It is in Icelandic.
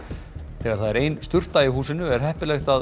þegar það er ein sturta í húsinu er heppilegt að